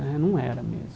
Né não era mesmo.